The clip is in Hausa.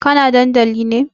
Kana dandali ne?